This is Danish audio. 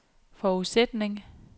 forudsætning